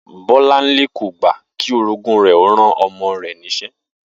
Bó̩láńlé kò gbà kí orogún rè̩ ó ran o̩mo̩ rè̩ nís̩e̩